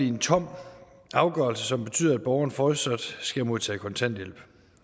en tom afgørelse som betyder at borgeren fortsat skal modtage kontanthjælp